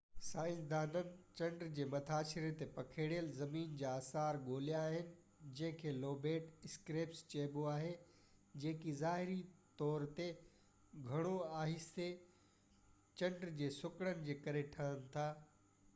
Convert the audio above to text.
سائنسدانن چنڊ جي مٿاڇري تي پکڙيل زمين جا آثار ڳولهيا آهن جنهن کي لوبيٽ اسڪريپس چئبو آهي جيڪي ظاهري طو تي گهڻو آهستي چنڊ جي سڪڙڻ جي ڪري ٺهن ٿا